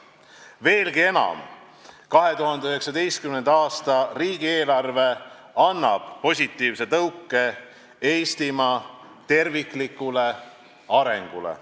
Veelgi enam, 2019. aasta riigieelarve annab positiivse tõuke Eestimaa terviklikule arengule.